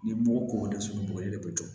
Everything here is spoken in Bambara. Ni mugu k'o dɛsɛ bɔgɔli de bɛ jɔ